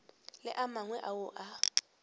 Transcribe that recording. le a mangwe ao a